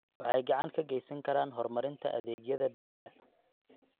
Waxay gacan ka geysan karaan horumarinta adeegyada biyaha.